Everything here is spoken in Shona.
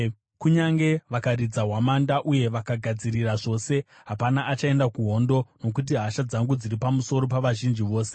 Kunyange vakaridza hwamanda uye vakagadzirira zvose, hapana achaenda kuhondo, nokuti hasha dzangu dziri pamusoro pavazhinji vose.